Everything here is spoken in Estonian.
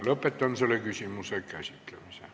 Lõpetan selle küsimuse käsitlemise.